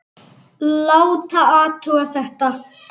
Láta athuga þetta.